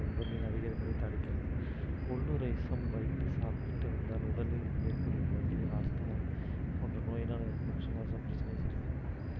உடலில் அதிகரிப்பதை தவிர்க்கிறது கொள்ளு ரசம் வைத்து சாப்பிட்டு வந்தால் உடலில் ஏற்படும் வலி ஆஸ்துமா போன்ற நோயினால் ஏற்படும் சுவாச பிரச்சனை சரியாகும்